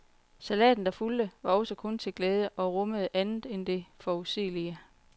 Salaten, der fulgte, var også kun til glæde og rummede andet end det forudsigelige.